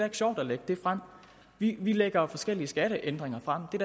sjovt at lægge det frem vi lægger forskellige skatteændringer frem det